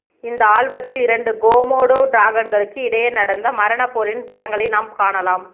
இந்த ஆல்பத்தில் இரண்டு கொமோடோ டிராகன்களுக்கு இடையே நடந்த மரண போரின் படங்களை நாம் காணலாம்